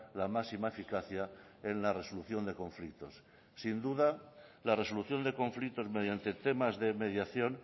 la máxima eficacia en la resolución de conflictos sin duda la resolución de conflictos mediante temas de mediación